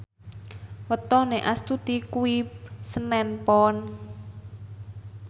wetone Astuti kuwi senen Pon